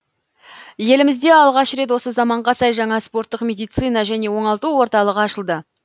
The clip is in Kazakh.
елімізде алғаш рет осы заманға сай жаңа спорттық медицина және оңалту орталығы ашылды